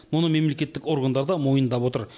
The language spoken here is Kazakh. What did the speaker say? мұны мемлекеттік органдар да мойындап отыр